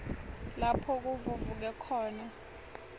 lapho kuvuvuke khona